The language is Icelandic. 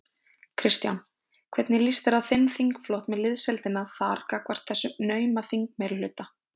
Kristján: Hvernig líst þér á þinn þingflokk og liðsheildina þar gagnvart þessum nauma þingmeirihluta?